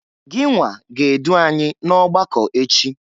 Ginwa ga-edụ anyị n'ọgbakọ echi!